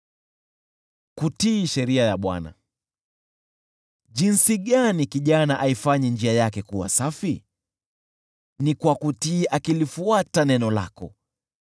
Kijana aifanye njia yake kuwa safi jinsi gani? Ni kwa kutii, akilifuata neno lako.